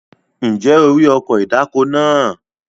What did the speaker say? Ǹjẹ́ o rí ọkọ̀ ìdáko náà?